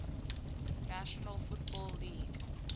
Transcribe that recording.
national football league